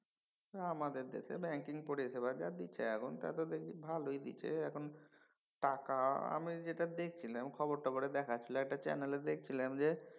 আমাদের দেশে ব্যাঙ্কিং পরিষেবা যা হইছে এখন তাতে দেখছি ভালই দিছে। এখন টাকা আমি যেটা দেখছিলাম খবর টবর দেখাচ্ছিল একটা চ্যানেলে দেখছিলাম যে